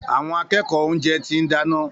Àwọn akẹ́kọ̀ọ́ oúnjẹ ti ń dáná.